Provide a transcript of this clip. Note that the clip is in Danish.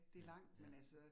Ja, ja